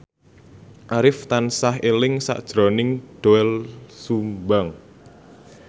Arif tansah eling sakjroning Doel Sumbang